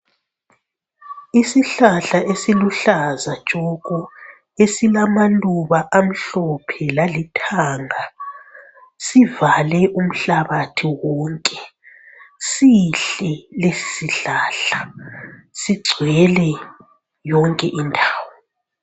Isihlahla esiluhlaza tshoko, esilamaluba amhlophe lalithanga sivale umhlabathi wonke ,sihle lesi sihlahla, sigcwele yonke indawo